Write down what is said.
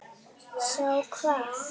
Sjá hvað?